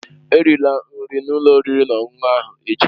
Erila nri n'ụlọ oriri na ọṅụṅụ ahụ echi!